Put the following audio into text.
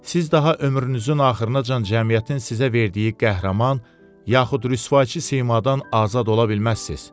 Siz daha ömrünüzün axırınacan cəmiyyətin sizə verdiyi qəhrəman yaxud rüsvayçı simadan azad ola bilməzsiz.